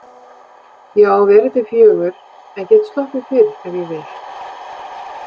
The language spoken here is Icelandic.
Ég á að vera til fjögur en get sloppið fyrr ef ég vil.